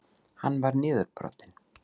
Hann var niðurbrotinn.